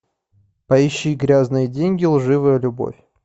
поищи грязные деньги лживая любовь